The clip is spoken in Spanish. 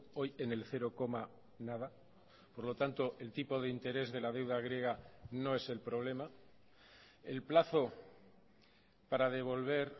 hoy en el cero coma nada por lo tanto el tipo de interés de la deuda griega no es el problema el plazo para devolver